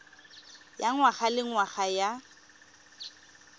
ya ngwaga le ngwaga ya